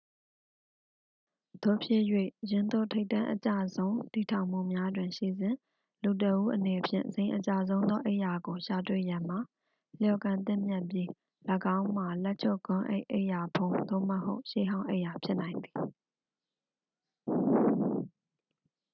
သို့ဖြစ်၍ ယင်းသို့ ထိပ်တန်းအကျဆုံး တည်ထောင်မှုများတွင်ရှိစဉ် လူတစ်ဦးအနေဖြင့် ဇိမ်အကျဆုံးသော အိပ်ရာကို ရှာတွေ့ရန်မှာ လျော်ကန်သင့်မြတ်ပြီး ၎င်းမှာ လက်ချုပ်ဂွမ်းကပ်အိပ်ရာဖုံး သို့မဟုတ် ရှေးဟောင်းအိပ်ရာဖြစ်နိုင်သည်